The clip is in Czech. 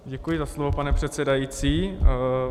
Děkuji za slovo, pane předsedající.